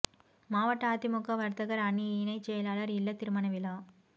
மாவட்ட அதிமுக வர்த்தகர் அணி இணை செயலாளர் இல்ல திருமண விழா